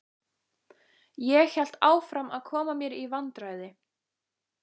Ég hélt áfram að koma mér í vandræði.